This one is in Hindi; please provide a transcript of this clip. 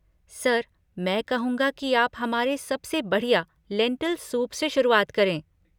सर, मैं कहूँगा कि आप हमारे सबसे बढ़िया लेंटिल सूप से शुरुआत करें।